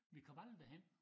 Vi kom aldrig derhen